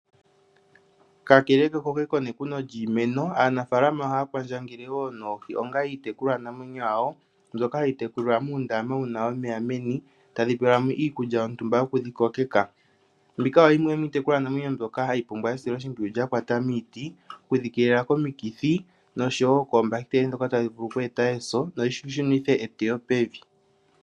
Kakele kekoke nekuno lyiimeno, aanafaalama ohaya kwandjangele wo noohi onga iitekulwanamwenyo yawo, mbyoka hayi tekulilwa muundama wuna omeya meni. Oha pelwamo iikulya yontumba yokudhi kokeka. Mbika oyo yimwe yomiitekulwanamwenyo mbyoka hayi pumbwa esiloshimpwiyu lyakwata miiti , okudhi keelela komiti noshowo koombahiteli ndhoka tadhi vulu okweeta eso noshi shunithe eteyo pevi.